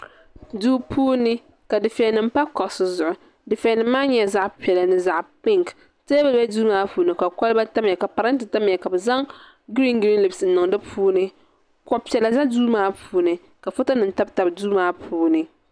duu puuni ka dufɛli nim pa kuɣusi zuɣu dufɛli nim maa nyɛla zaɣ piɛla ni zaɣ pink teebuli biɛla duu maa puuni ka kɔlba tamya ka parantɛ tamya ka bi zaŋ giriin giriin livs n niŋ di puuni kuɣu piɛla bɛ duu maa puuni ka foto nim tabi tabi duu maa puuni